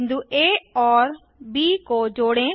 बिंदु आ और ब को जोड़ें